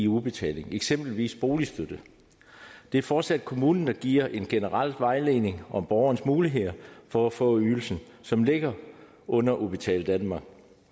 udbetaling eksempelvis boligstøtte det er fortsat kommunen der giver en generel vejledning om borgerens muligheder for at få ydelsen som ligger under udbetaling danmark